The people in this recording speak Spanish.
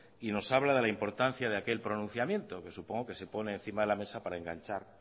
y nos habla de la importancia de aquel pronunciamiento que supongo que se pone encima de la mesa para enganchar